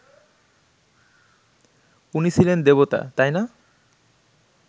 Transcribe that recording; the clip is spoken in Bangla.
উনি ছিলেন দেবতা, তাই না